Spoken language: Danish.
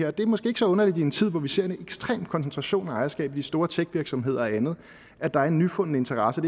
og det er måske ikke så underligt i en tid hvor vi ser en ekstrem koncentration af ejerskab i de store tech virksomheder og andet der er en nyfunden interesse